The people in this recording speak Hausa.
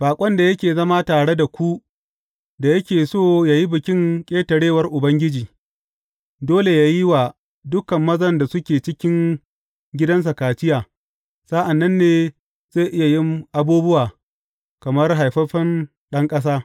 Baƙon da yake zama tare da ku da yake so yă yi Bikin Ƙetarewar Ubangiji, dole yă yi wa dukan mazan da suke cikin gidansa kaciya; sa’an nan ne zai iya yin abubuwa kamar haifaffen ɗan ƙasa.